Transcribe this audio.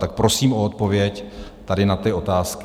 Tak prosím o odpověď tady na ty otázky.